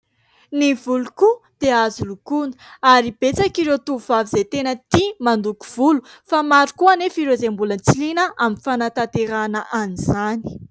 Ny volo koa dia azo lokoina ary betsaka ireo tovovavy izay tena tia mandoko volo fa maro koa anefa ireo izay mbola tsy liana amin'ny fanatanterahana an'izany.